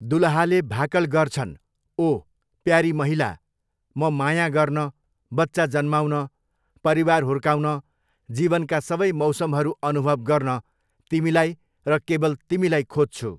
दुलहाले भाकल गर्छन्, 'ओह! प्यारी महिला, म माया गर्न, बच्चा जन्माउन, परिवार हुर्काउन, जीवनका सबै मौसमहरू अनुभव गर्न तिमीलाई र केवल तिमीलाई खोज्छु।